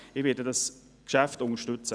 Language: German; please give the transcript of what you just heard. Ich werde dieses Geschäft unterstützen.